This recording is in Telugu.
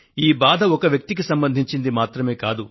ఈ బాధ ఒక వ్యక్తికి సంబంధించింది మాత్రమే కాదు